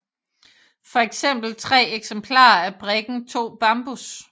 For eksempel tre eksemplarer af brikken 2 bambus